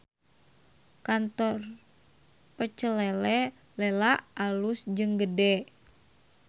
Kantor Pecel Lele Lela alus jeung gede